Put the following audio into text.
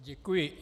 Děkuji.